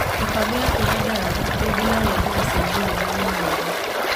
Mĩbango yaku ya dawa rĩngĩ no yedwo gũcenjio rĩrĩa wĩna nda.